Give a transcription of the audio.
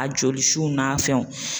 A jolisu n'a fɛnw